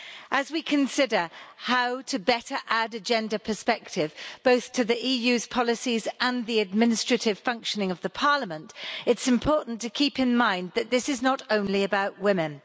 As we consider how to better add a gender perspective, both to the EU's policies and the administrative functioning of Parliament, it's important to keep in mind that this is not only about women.